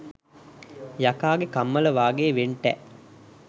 යකාගේ කම්මල වාගේ වෙන්ටැ